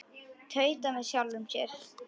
Tauta með sjálfri mér.